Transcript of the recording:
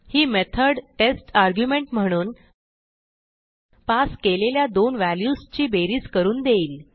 ही method test argument म्हणून passकेलेल्या दोन व्हॅल्यूजची बेरीज करून देईल